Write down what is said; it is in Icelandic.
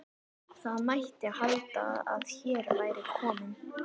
Það mætti halda að hér væri kominn